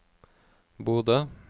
Bodø